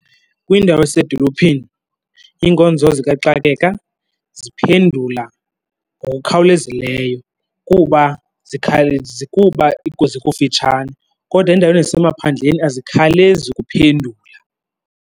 Kwiindawo eziseedolophini iinkonzo zikaxakeka ziphendula ngokukhawulezileyo kuba kuba zikufitshane. Kodwa endaweni ezisemaphandleni azikhawulezi ukuphendula.